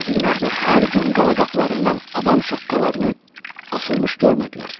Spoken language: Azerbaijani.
Qəzvinin əhli hər gün qala qapılarından adam şaqqalarını asılmış görmədilər.